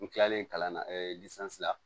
N kilalen kalan na la